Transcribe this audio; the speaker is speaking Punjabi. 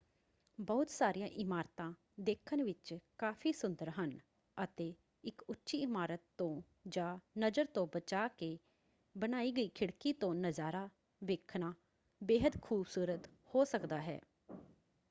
ਬਹੁਤ ਸਾਰੀਆਂ ਇਮਾਰਤਾਂ ਦੇਖਣ ਵਿੱਚ ਕਾਫ਼ੀ ਸੁੰਦਰ ਹਨ ਅਤੇ ਇਕ ਉੱਚੀ ਇਮਾਰਤ ਤੋਂ ਜਾਂ ਨਜ਼ਰ ਤੋਂ ਬਚਾ ਕੇ ਬਣਾਈ ਗਈ ਖਿੜਕੀ ਤੋਂ ਨਜ਼ਾਰਾ ਵੇਖਣਾ ਬੇਹੱਦ ਖੂਬਸੂਰਤ ਹੋ ਸਕਦਾ ਹੈ।